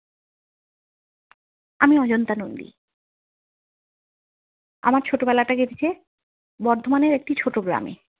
আমি অজন্তা নন্দি। আমার ছোট বেলাটা কেটেছে বর্ধমানের একটি ছোট গ্রামে।